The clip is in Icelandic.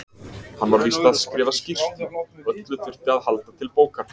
Hann var víst að skrifa skýrslu, öllu þurfti að halda til bókar.